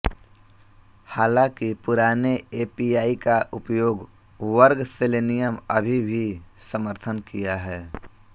हालांकि पुराने एपीआई का उपयोग वर्ग सेलेनियम अभी भी समर्थन किया है